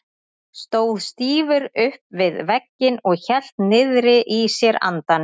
Stóð stífur upp við vegginn og hélt niðri í sér andanum.